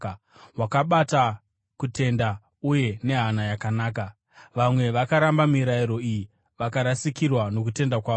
wakabata kutenda uye nehana yakanaka. Vamwe vakaramba mirayiro iyi vakarasikirwa nokutenda kwavo.